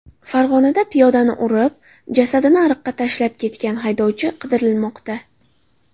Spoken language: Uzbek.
Farg‘onada piyodani urib, jasadini ariqqa tashlab ketgan haydovchi qidirilmoqda.